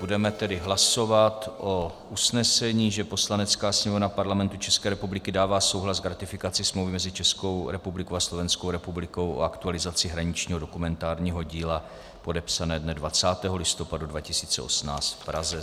Budeme tedy hlasovat o usnesení, že Poslanecká sněmovna Parlamentu České republiky dává souhlas k ratifikaci Smlouvy mezi Českou republikou a Slovenskou republikou o aktualizaci hraničního dokumentárního díla, podepsané dne 20. listopadu 2018 v Praze.